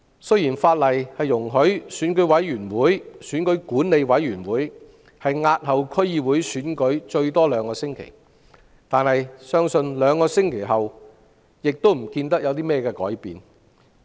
雖然法例容許選舉管理委員會押後區議會選舉最多兩星期，但相信兩星期後亦不會有任何改變。